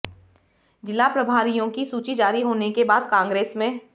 जिला प्रभारियों की सूची जारी होने के बाद कांग्रेस में